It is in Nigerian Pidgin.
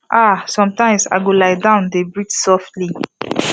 ahsometimes i go lie down dey breathe softly